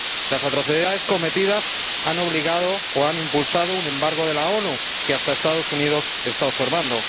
Las atrocidades cometidas han obligado o han impulsado un embargo de la ONU, que hasta Estados Unidos está observando.